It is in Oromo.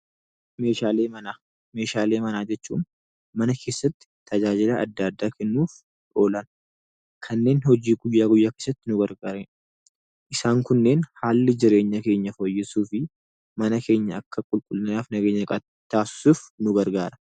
Meeshaalee manaa jechuun mana keessatti tajaajila adda addaa kennuuf oolan, kanneen hojii guyyaa guyyaa keessatti nu gargaaranidha. Isaan kunneen haalli jireenya keenyaa fooyyessuu fi mana keenya akka qulqullinaaf nageenya qabaatan taasisuuf nu gargaara.